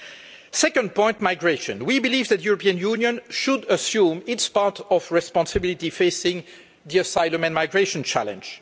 On the second point, migration, we believe that the European Union should assume its part of the responsibility in facing the asylum and migration challenge.